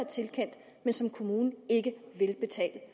tilkendt men som kommunen ikke vil betale